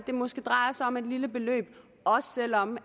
det måske drejer sig om et lille beløb og også selv om